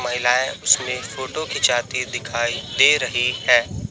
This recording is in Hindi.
महिलाएं उसमें फोटो खींचाती दिखाई दे रही हैं।